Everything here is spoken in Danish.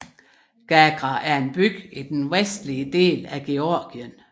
Gagra er en by i den vestlige del af Georgien